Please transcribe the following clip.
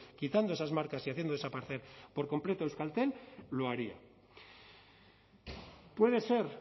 quitando esas marcas y haciendo desaparecer por completo a euskaltel lo haría puede ser